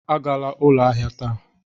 Agala ụlọ ahịa taa!